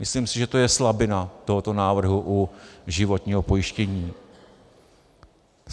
Myslím si, že to je slabina tohoto návrhu u životního pojištění.